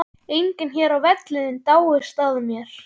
Enginn hér á vellinum dáist að þér.